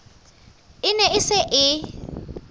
e ne e se e